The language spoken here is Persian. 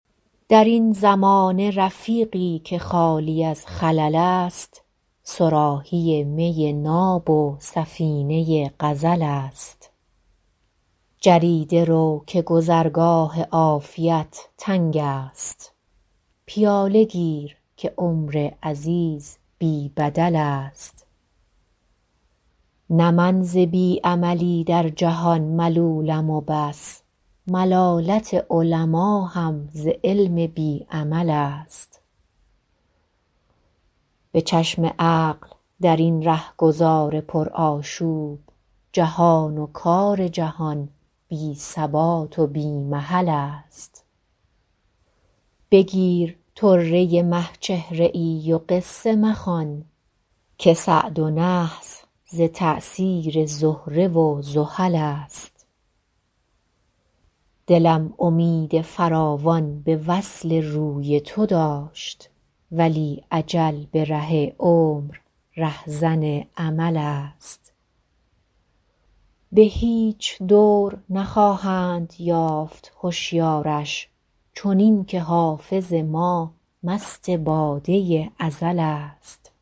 در این زمانه رفیقی که خالی از خلل است صراحی می ناب و سفینه غزل است جریده رو که گذرگاه عافیت تنگ است پیاله گیر که عمر عزیز بی بدل است نه من ز بی عملی در جهان ملولم و بس ملالت علما هم ز علم بی عمل است به چشم عقل در این رهگذار پرآشوب جهان و کار جهان بی ثبات و بی محل است بگیر طره مه چهره ای و قصه مخوان که سعد و نحس ز تأثیر زهره و زحل است دلم امید فراوان به وصل روی تو داشت ولی اجل به ره عمر رهزن امل است به هیچ دور نخواهند یافت هشیارش چنین که حافظ ما مست باده ازل است